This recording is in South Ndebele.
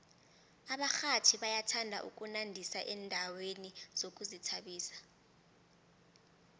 abarhatjhi bayathanda ukunandisa endaweni zokuzithabisa